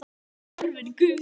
En hún var horfin, gufuð upp.